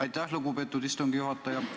Aitäh, lugupeetud istungi juhataja!